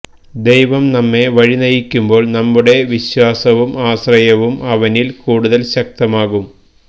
ദൈവം നമ്മെ വഴിനയിക്കുമ്പോൾ നമ്മുടെ വിശ്വാസവും ആശ്രയവും അവനിൽ കൂടുതൽ ശക്തമാകും